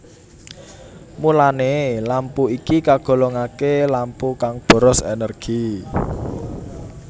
Mulané lampu iki kagolongaké lampu kang boros énérgi